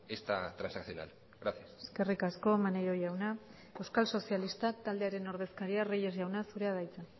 esta transaccional gracias eskerrik asko maneiro jauna euskal sozialistak taldearen ordezkaria reyes jauna zurea da hitza